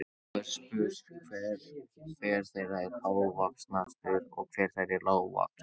Nú er spurt, hver þeirra er hávaxnastur og hver þeirra er lágvaxnastur?